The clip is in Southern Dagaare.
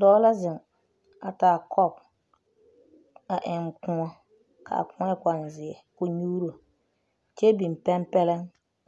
Dɔɔ la zeŋ a taa kɔp a eŋ kõɔ ka a kõɔ e konzeɛ ka o nyuuro kyɛ biŋ pɛmpɛlleŋ